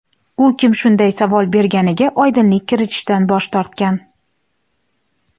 U kim shunday savol berganiga oydinlik kiritishdan bosh tortgan.